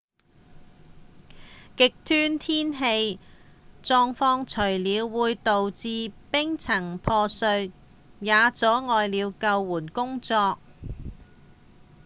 極端天氣狀況除了會導致冰層破碎也阻礙了救援工作